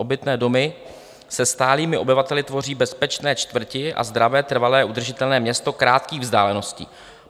Obytné domy se stálými obyvateli tvoří bezpečné čtvrti a zdravé, trvale udržitelné město krátkých vzdáleností.